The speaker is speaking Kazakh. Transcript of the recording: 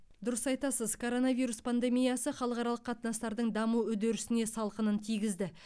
дұрыс айтасыз коронавирус пандемиясы халықаралық қатынастардың даму үдерісіне салқынын тигізді